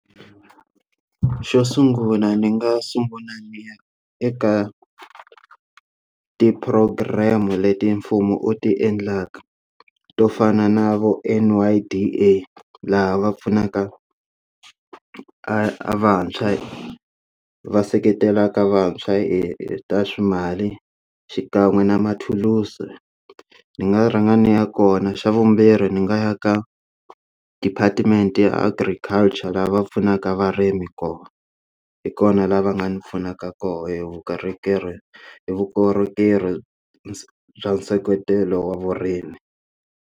Xo sungula ni nga sungula niya eka ti program leti mfumo u ti endlaka to fana na vo N_Y_D_A laha va pfunaka a vantshwa va seketela ka vantshwa hi ta timali xikan'we na mathulusi ndzi nga rhanga ndzi ya kona xa vumbirhi ndzi nga ya ka department ya agriculture lava pfunaka varimi kona hi kona lava nga ndzi pfunaka kona hi vukorhokeri vukorhokeri bya nseketelo wa vurimi.